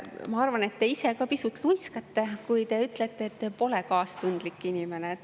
Ma arvan, et te ise ka pisut luiskate, kui te ütlete, et te pole kaastundlik inimene.